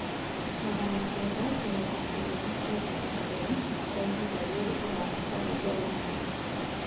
magana kenda mĩrongo kenda na kenda f.m kwaĩhĩnda riri urathaka rwĩmbo rũrĩkũ